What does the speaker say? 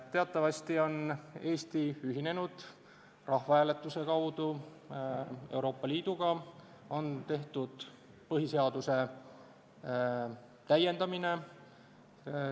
Teatavasti on Eesti rahvahääletuse kaudu ühinenud Euroopa Liiduga, põhiseadust on täiendatud.